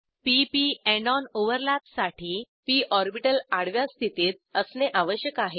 p P end on ओव्हरलॅपसाठी P orbital आडव्या स्थितीत असणे आवश्यक आहे